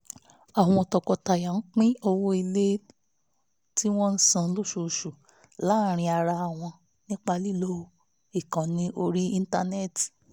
àwọn tọkọtaya pín owó ilé tí wọ́n san lóṣooṣù láàárín ara wọn nípa lílo ìkànnì orí íńtánẹ́ẹ̀tì